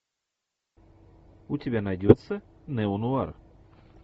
у тебя найдется неонуар